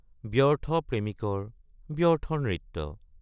ব্যৰ্থ প্ৰেমিকৰ ব্যৰ্থ নৃত্য।